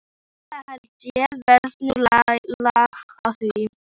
Það held ég verði nú lag á því.